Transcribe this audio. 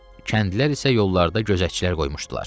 Kəndlilər isə yollarda gözətçilər qoymuşdular.